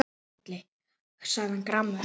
sagði hann gramur.